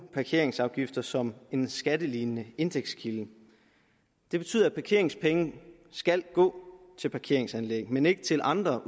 parkeringsafgifter som en skattelignende indtægtskilde det betyder at parkeringspenge skal gå til parkeringsanlæg men ikke til andre